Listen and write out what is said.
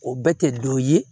O bɛɛ tɛ dɔ ye